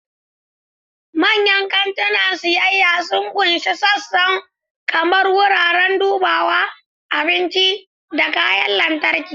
Manyan kantunan siyayya sun ƙunshi sassan kamar wuraren dubawa, abinci, da kayan lantarki.